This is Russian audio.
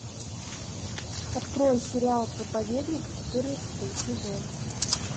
открой сериал проповедник четырнадцатый сезон